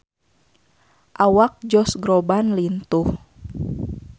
Awak Josh Groban lintuh